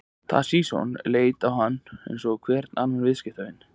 Toshizo leit á hann eins og hvern annan viðskiptavin.